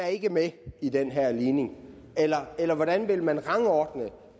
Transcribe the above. ikke er med i den her ligning eller eller hvordan vil man rangordne